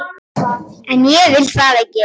En ég vil það ekki.